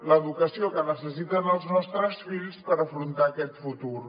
l’educació que necessiten els nostres fills per afrontar aquest futur